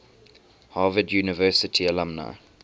harvard university alumni